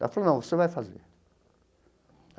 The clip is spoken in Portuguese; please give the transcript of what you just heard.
Ela falou, não, você vai fazer.